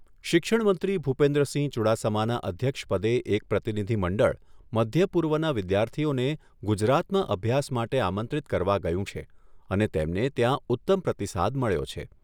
શિક્ષણમંત્રી ભુપેન્દ્રસિંહ ચુડાસમાનાં અધ્યક્ષપદે એક પ્રતિનિધિમંડળ મધ્યપૂર્વના વિદ્યાર્થીઓને ગુજરાતમાં અભ્યાસ માટે આમંત્રિત કરવા ગયું છે અને તેમને ત્યાં ઉત્તમ પ્રતિસાદ મળ્યો છે.